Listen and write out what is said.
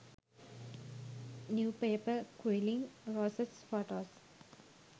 new paper quilling roses photos